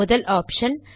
முதல் ஆப்ஷன்